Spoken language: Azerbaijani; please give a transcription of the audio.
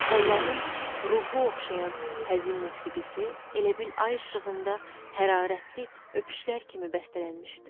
Onların ruhu oxşayan həzin musiqisi elə bil ay işığında hərarətli öpüşlər kimi bəstələnmişdi.